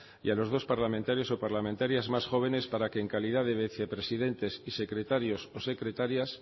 y a los dos parlamentarios o parlamentarias más jóvenes para que en calidad de vicepresidentes y secretarios o secretarias